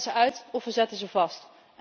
We zetten ze uit of we zetten ze vast.